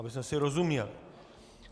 Abychom si rozuměli.